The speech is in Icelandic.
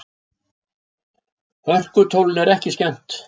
Hörkutólinu er ekki skemmt.